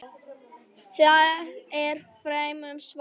Það er fremur svalt.